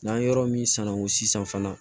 N'an yɔrɔ min sanuko sisan fana